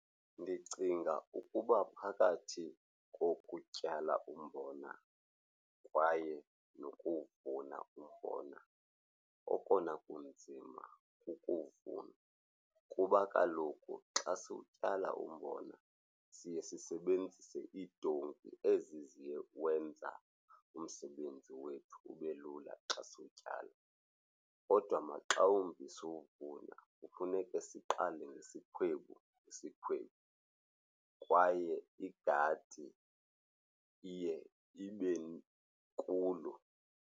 Ndicinga ukuba phakathi kokutyala umbona kwaye nokuwuvuna umbona okona kunzima kukuvuna kuba kaloku xa siwutyala umbona siye sisebenzise iitoti ezi ziwenza umsebenzi wethu ube lula xa siwutyala. Kodwa maxa wumbi siwuvuna kufuneke siqale ngesikhwebu ngesikhwebu kwaye igadi iye ibe inkulu.